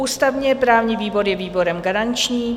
Ústavně-právní výbor je výborem garančním.